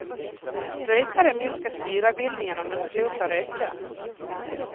Rökare minskar syrabildningen om de slutar röka.